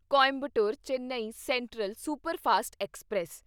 Coimbatore Chennai central superfast express